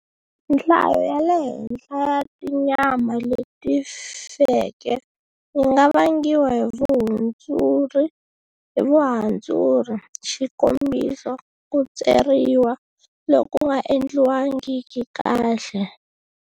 Nhlayo ya le henhla ya tinyama leti feke yi nga vangiwa hi vuhandzuri, xikombiso, ku tseriwa loku nga endliwangiki kahle.